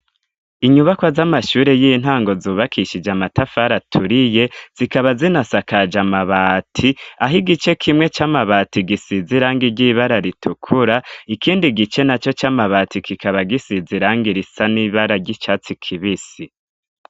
Inyubakwa z'amashuri y'intango zubakishije amatafari aturiye zikaba zinasakaje amabati aho igice kimwe c'amabati gisize irangi ry'ibara ritukura ikindi gice na yo c'amabati kikaba gisize irangi irisa n'ibara ry'icatsi kibisi.